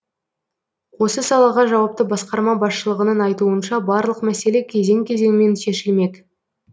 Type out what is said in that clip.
осы салаға жауапты басқарма басшылығының айтуынша барлық мәселе кезең кезеңмен шешілмек